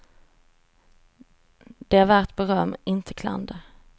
Det är värt beröm, inte klander.